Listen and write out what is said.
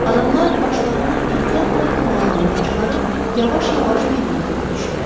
Adamlar başlarını ehtiyatla komalarından çıxarıb yavaş-yavaş meydana tökülüşdülər.